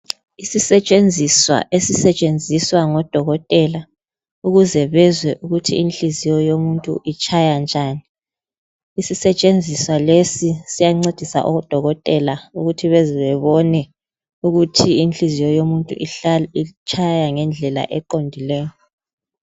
Isisetshenziswa esisetshenziswa ngodokotela ukuze bezwe ukuthi inhliziyo yomuntu itshaya njani. Isisetshenziswa lesi siyancedisa odokotela ukuthi bezebebone ukuthi inhliziyo yomuntu itshaya ngendlela eqondileyo.